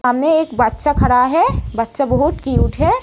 सामने एक बच्चा खड़ा है। बच्चा बहुत क्यूट है।